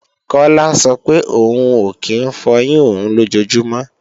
Kọ́lá sọ pé òun ò kí ń fọyín òun lójojúmọ́